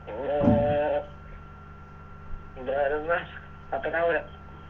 അഹ് ഞാനിന്ന് പത്തനാപുരം